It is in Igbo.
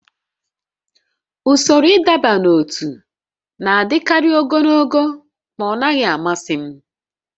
Usoro ịdọba n'ótú na-adịkarị ogologo ma ọ naghị amasị m